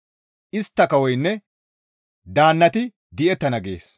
Istta kawoynne daannati di7ettana» gees.